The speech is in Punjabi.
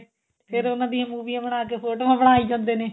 ਫੇਰ ਉਹਨਾਂ ਦੀਆਂ ਮੂਵੀਆਂ ਬਣਾਕੇ ਫੋਟੋਆਂ ਬਣਾਈ ਜਾਂਦੇ ਨੇ